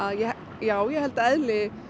já ég held að eðli